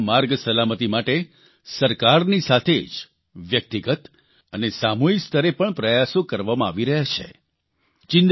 આજે ભારતમાં માર્ગ સલામતિ માટે સરકારની સાથે જ વ્યક્તિગત અને સામૂહિક સ્તરે પણ પ્રયાસો કરવામાં આવી રહ્યા છે